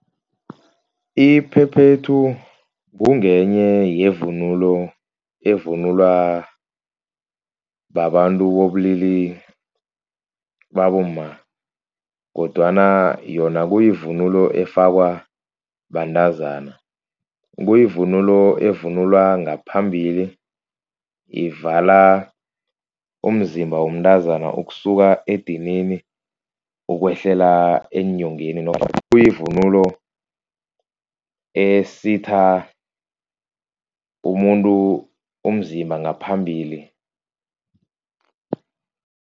Iphephethu kungenye yevunulo evunulwa babantu bobulili babomma, kodwana yona kuyivunulo efakwa bantazana. Kuyivunulo evunulwa ngaphambili, ivala umzimba womntazana ukusuka edinini ukwehlela eenyongeni. Kuyivunulo esitha umuntu umzimba ngaphambili.